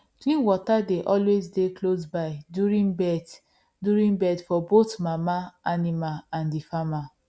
clean water dey always dey close by during birth during birth for both mama animal and the farmer